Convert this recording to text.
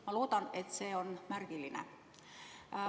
Ma loodan, et see on märgiline.